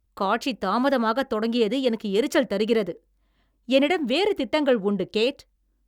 காட்சி தாமதமாகத் தொடங்கியது எனக்கு எரிச்சல் தருகிறது. என்னிடம் வேறு திட்டங்கள் உண்டு, கேட்!